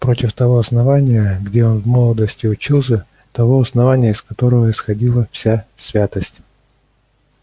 против того основания где он в молодости учился того основания из которого исходила вся святость